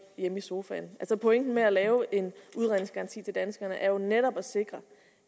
hjemme i sofaen altså pointen med at lave en udredningsgaranti for danskerne er jo netop at sikre